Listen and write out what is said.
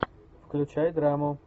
включай драму